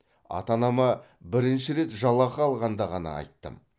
ата анама бірінші рет жалақы алғанда ғана айттым